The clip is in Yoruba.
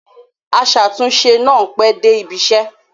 Aṣàtúnṣe náà pẹ́ dé ibiṣẹ́.